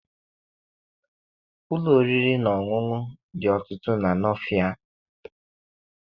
Ụlọ oriri na ọṅụṅụ dị ọtụtụ na Nọọfịa.